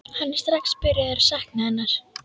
Hann er strax byrjaður að sakna hennar.